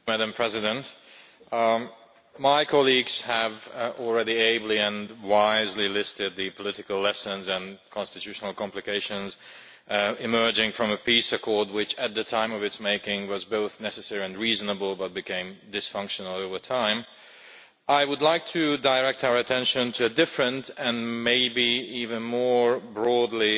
Madam President, my colleagues have already ably and wisely listed the political lessons and constitutional complications emerging from a peace accord which, at the time of its making, was both necessary and reasonable but which became dysfunctional over time. I would like to direct our attention to a different, and maybe even more broadly